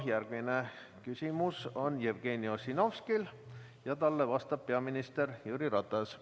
Järgmine küsimus on Jevgeni Ossinovskil ja talle vastab peaminister Jüri Ratas.